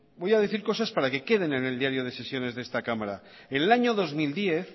voy a decir cosas para que queden en el diario de sesiones de esta cámara en el año dos mil diez